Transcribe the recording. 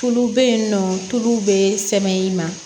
Tulu bɛ yen nɔ tulu bɛ sɛmɛ i ma